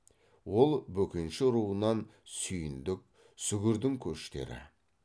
ол бөкенші руынан сүйіндік сүгірдің көштері